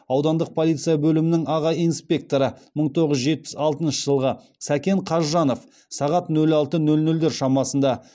аудандық полиция бөлімінің аға инспекторы мың тоғыз жүз жетпіс алтыншы жылғы сәкен қазжанов сағат нөл алты нөл нөлдер шамасында